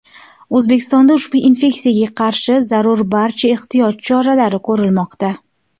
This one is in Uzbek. O‘zbekistonda ushbu infeksiyaga qarshi zarur barcha ehtiyot choralari ko‘rilmoqda.